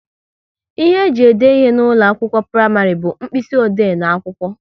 Ihe ji ede ihe n'ụlọ akwụkwọ praịmarị bu mkpịsị ode n'akwụkwọ